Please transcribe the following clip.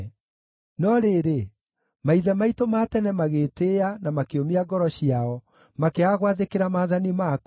“No rĩrĩ, maithe maitũ ma tene magĩĩtĩĩa na makĩũmia ngoro ciao, makĩaga gwathĩkĩra maathani maku.